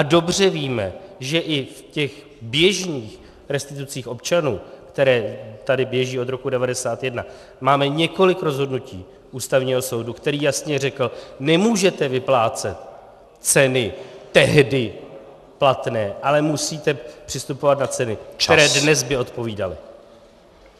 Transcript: A dobře víme, že i v těch běžných restitucích občanů, které tady běží od roku 1991, máme několik rozhodnutí Ústavního soudu, který jasně řekl: nemůžete vyplácet ceny tehdy platné, ale musíte přistupovat na ceny, které by dnes odpovídaly.